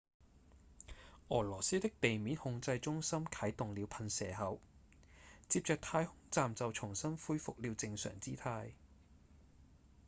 俄羅斯的地面控制中心啟動了噴射口接著太空站就重新恢復了正常姿態